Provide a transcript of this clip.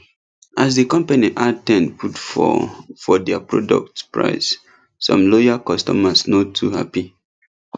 as di company add ten put for for their product price some loyal customers no too happy